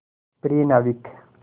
प्रिय नाविक